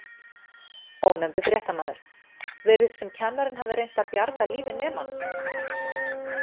Ónefndur fréttamaður: Virðist sem kennarinn hafi reynt að bjarga lífi nemans?